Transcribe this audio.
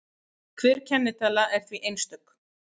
Hver kennitala er því einstök.